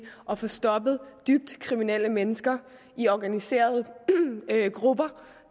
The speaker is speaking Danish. at få stoppet dybt kriminelle mennesker i organiserede grupper